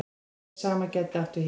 Og hið sama gæti átt við hér.